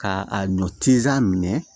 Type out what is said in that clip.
Ka a ɲɔ tisi minɛ